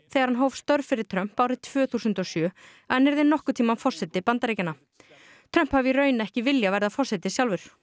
þegar hann hóf störf fyrir Trump árið tvö þúsund og sjö að hann yrði nokkurn tímann forseti Bandaríkjanna Trump hafi í raun ekki viljað verða forseti sjálfur